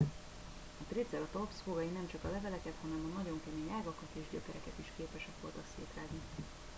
a triceratops fogai nemcsak a leveleket hanem a nagyon kemény ágakat és gyökereket is képesek voltak szétrágni